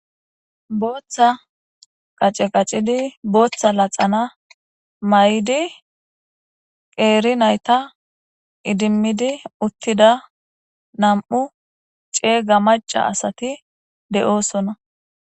booththa qace qacidi booththa laxana may7di qeeri nayta idimmidi uttida nam7u ceega maca asati de7oosonna